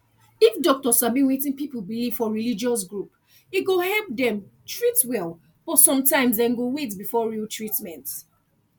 if doctor sabi wetin people believe for religious group e go help dem treat well but sometimes dem go wait before real treatment